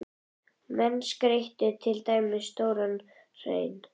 Menn skreyttu til dæmis stóran hrein.